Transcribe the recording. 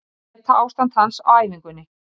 Meta á ástand hans á æfingunni.